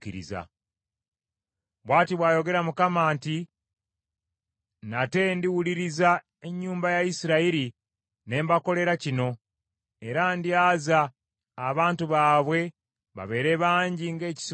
“Bw’ati bw’ayogera Mukama nti: Nate ndiwuliriza ennyumba ya Isirayiri ne mbakolera kino, era ndyaza abantu baabwe babeere bangi ng’ekisibo ky’endiga.